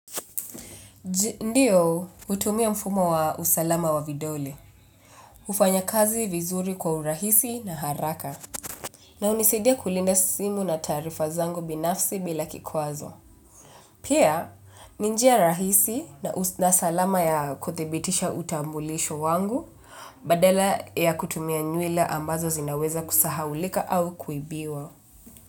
Ndio, hutumia mfumo wa usalama wa vidole. Hufanya kazi vizuri kwa urahisi na haraka na hunisidia kulinda simu na taarifa zangu binafsi bila kikwazo. Pia ni njia rahisi na salama ya kuthibitisha utambulisho wangu, badala ya kutumia nywela ambazo zinaweza kusahaulika au kuibiwa.